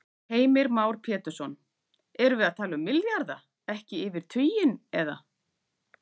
Heimir Már Pétursson: Erum við að tala milljarða, ekki yfir tuginn, eða?